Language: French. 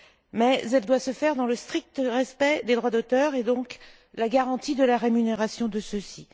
Mais elle doit se faire dans le strict respect des droits d'auteur, et donc en garantissant la rémunération de ceux ci.